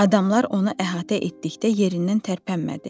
Adamlar onu əhatə etdikdə yerindən tərpənmədi.